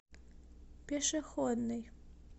пешеходный